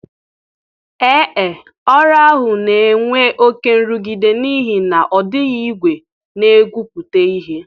Ee e, ọrụ ahụ na-enwe oke nrụgide n'ihi na ọ dịghị igwe na-egwupụta ihe